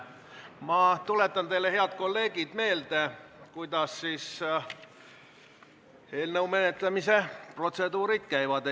Ma tuletan teile, head kolleegid, meelde, kuidas eelnõu esimesel lugemisel menetlusprotseduurid käivad.